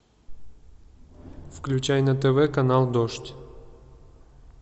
включай на тв канал дождь